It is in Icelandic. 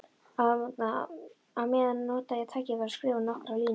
Á meðan nota ég tækifærið og skrifa nokkrar línur.